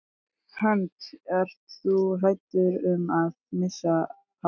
Hödd: Ert þú hræddur um að missa hárið?